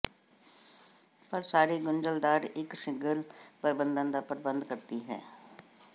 ਪਰ ਸਾਰੀ ਗੁੰਝਲਦਾਰ ਇੱਕ ਸਿੰਗਲ ਪ੍ਰਬੰਧਨ ਦਾ ਪ੍ਰਬੰਧ ਕਰਦੀ ਹੈ